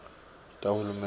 tahulumende